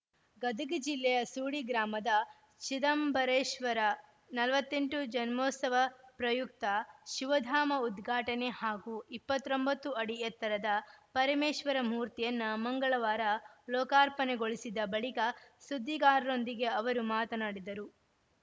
ಗದಗ ಜಿಲ್ಲೆಯ ಸೂಡಿ ಗ್ರಾಮದ ಚಿದಂಬರೇಶ್ವರ ನಲವತ್ತ್ ಎಂಟು ಜನ್ಮೋತ್ಸವ ಪ್ರಯುಕ್ತ ಶಿವಧಾಮ ಉದ್ಘಾಟನೆ ಹಾಗೂ ಇಪ್ಪತ್ತ್ ಒಂಬತ್ತು ಅಡಿ ಎತ್ತರದ ಪರಮೇಶ್ವರ ಮೂರ್ತಿಯನ್ನು ಮಂಗಳವಾರ ಲೋಕಾರ್ಪಣೆಗೊಳಿಸಿದ ಬಳಿಕ ಸುದ್ದಿಗಾರರೊಂದಿಗೆ ಅವರು ಮಾತನಾಡಿದರು